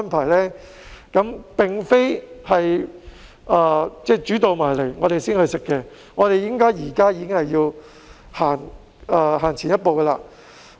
我們不能"煮到埋嚟先食"，而是現在已經要走前一步。